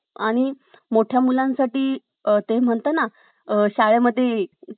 आणि मोठ्या मुलांसाठी ते म्हणतात ना शाळेमध्ये ,